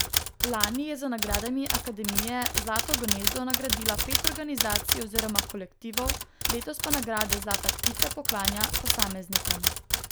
Lani je z nagradami akademije zlato gnezdo nagradila pet organizacij oziroma kolektivov, letos pa nagrade zlata ptica poklanja posameznikom.